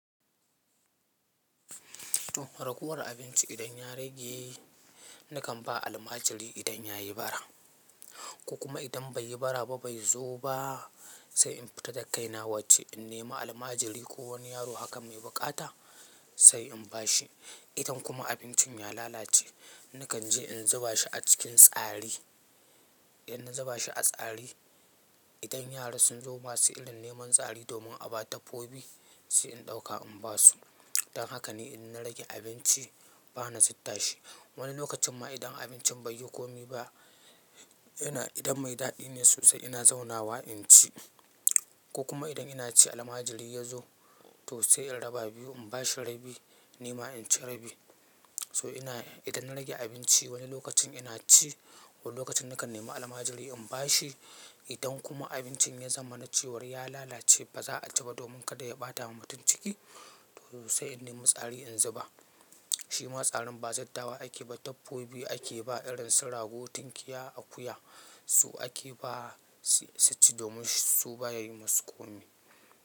To fa ragowar abinci idan ya rage nakan ba almajiri idan ya yi bara. Ko kuma idan bai yi bara ba bai zo ba sai in fita da kaina waje in nema almajiri ko wani yaro haka mai buƙata sai in ba shi. Idan kuma abincin ya lalace nakan je in zuba shi a cikin tsari. Idan na zuba shi a tsari, idan yara sun zo ma su irin neman tsari domin a ba dabbobi sai in ɗauka in ba su. Dan haka ni in na rage abinci bana zubda shi. Wani lokacin ma idan abincin bai yi komi ba yana idan mai daɗi ne sosai ina zauna wa in ci. Ko kuma idan ina ci almajiri ya zo to sai in raba biyu in ba shi rabi nima in ci rabi. So ina idan na rage abinci wani lokacin ina ci, wani lokacin nakan nemi almajiri in ba shi. Idan kuma abincin ya zama na cewar ya lalace ba za a ci ba domin kada ya ɓata wa mutum ciki to sai in nema tsari in zuba. Shi ma tsarin ba zubdawa ake ba, dabbobi ake ba irin su rago, tunkiya, akuya su ake ba su-su ci domin su ba yayi musu komi.